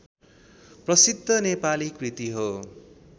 प्रसिद्ध नेपाली कृति हो